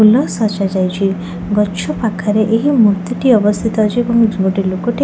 ଫୁଲ ସଜାଯାଇଚି ଗଛ ପାଖରେ ଏହି ମୂର୍ତ୍ତିଟି ଅବସ୍ଥିତ ଅଛି ଏବଂ ଏଇଠି ଗୋଟେ ଲୋକଟିଏ --